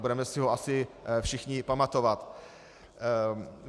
Budeme si ho asi všichni pamatovat.